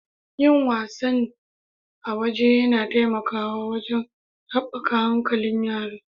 Yin wasannn a waje yana taimakawa wajen haɓaka hankalin yara.